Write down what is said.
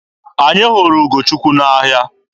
Anyị hụrụ Ugochukwu n'ahịa.